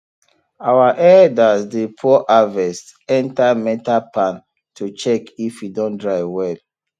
our elders dey pour harvest enter metal pan to check if e don dry well